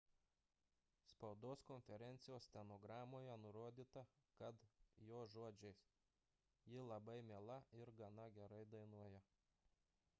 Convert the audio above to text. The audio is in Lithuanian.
spaudos konferencijos stenogramoje nurodyta kad jo žodžiais ji labai miela ir gana gerai dainuoja